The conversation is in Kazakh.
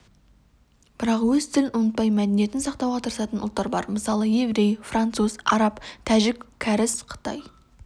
бірақ өз тілін ұмытпай мәдениетін сақтауға тырысатын ұлттар бар мысалы еврей француз араб тәжік кәріс қытай